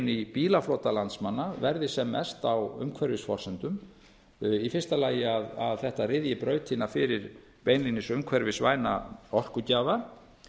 í bílaflota landsmanna verði sem mest á umhverfisforsendum í fyrsta lagi að þetta ryðji brautina fyrir beinlínis umhverfisvæna orkugjafa